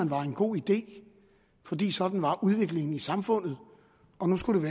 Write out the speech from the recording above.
var en god idé fordi sådan var udviklingen i samfundet og nu skulle